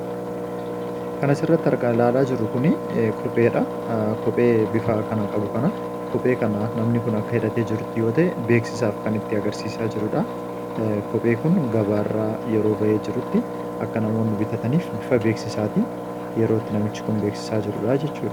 Kan asirratti ilaalaa jirru kun kopheedha. Kophee bufa kana qabu kana namni kun akka hidhatee jirutti yoo ta’e beeksisaf kan nutti agarsiisaaa jirudha. Kopheen kun gabaarraa yeroo bahetti akka namoonni bitatanitti namichi kun beeksisaa jira jechuudha.